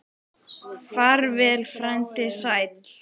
Far vel, frændi sæll.